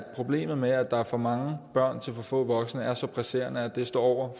problemet med at der er for mange børn til for få voksne er så presserende at det står over